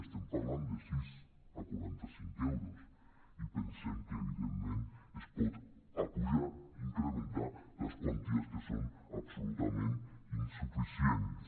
estem parlant de sis a quaranta·cinc euros i pensem que evidentment es poden apujar in·crementar les quanties que són absolutament insuficients